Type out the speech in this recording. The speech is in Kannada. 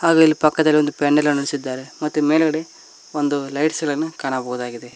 ಹಾಗು ಇಲ್ಲಿ ಪಕ್ಕದಲ್ಲಿ ಒಂದು ಪೇನಿಲ್ ನಿಲ್ಲಿಸಿದ್ದಾರೆ ಮತ್ತೆ ಮೇಲ್ಗಡೆ ಒಂದು ಲೈಟ್ಸ್ ಗಳನು ಕಾಣಬಹುದಾಗಿದೆ.